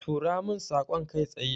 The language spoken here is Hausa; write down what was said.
Tura min saƙon kai tsaye.